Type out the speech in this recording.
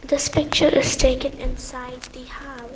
this picture is taken inside the hou--